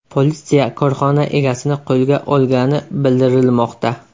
Politsiya korxona egasini qo‘lga olgani bildirilmoqda.